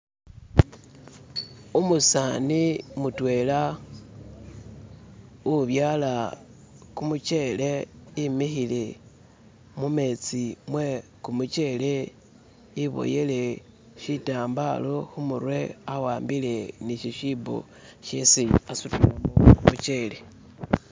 Umusani mutwela ubyala kumuchele emikhile mumetsi mwe kumuchele iboyele shirambalo khumurwe awambile ni shishibo shesi asutilano khumuchele